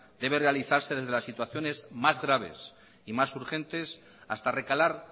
debe realizarse desde las situaciones más graves y más urgentes hasta recalar